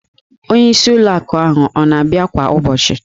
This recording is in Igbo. Onyeisi ụlọ akụ ọ na-abịa kwa ụbọchị?